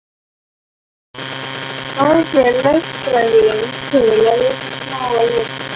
Fáðu þér lögfræðing til að lesa smáa letrið.